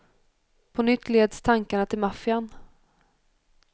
På nytt leds tankarna till maffian.